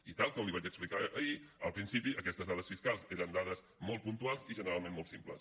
i tal com li vaig explicar ahir al principi aquestes dades fiscals eren dades molt puntuals i generalment molt simples